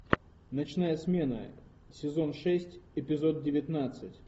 ночная смена сезон шесть эпизод девятнадцать